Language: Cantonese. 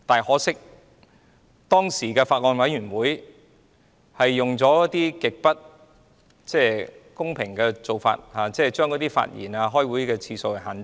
可惜，當時的法案委員會用了極不公平的做法，就是限制委員發言和開會次數。